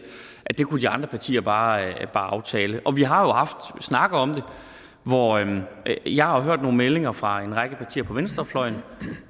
det kunne de andre partier bare aftale og vi har jo haft snakke om det hvor jeg har hørt nogle meldinger fra en række partier på venstrefløjen